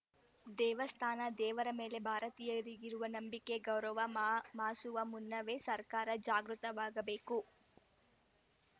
ದೇವಸ್ಥಾನ ದೇವರ ಮೇಲೆ ಭಾರತೀಯರಿಗಿರುವ ನಂಬಿಕೆ ಗೌರವ ಮ ಮಾಸುವ ಮುನ್ನವೇ ಸರ್ಕಾರ ಜಾಗೃತವಾಗಬೇಕು